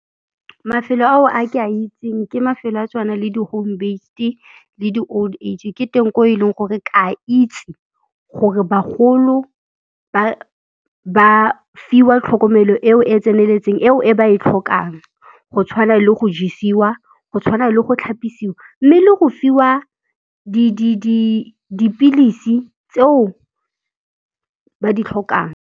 Mafelo ao a ke a itseng ke mafelo a tshwana le di-home based-e, le di-old age. Ke teng ko e leng gore ke a itse gore bagolo ba fiwa tlhokomelo eo e tseneletseng, eo e ba e tlhokang go tshwana le go jesiwa, go tshwana le go tlhapisiwa, mme le go fiwa dipilisi tseo ba di tlhokang.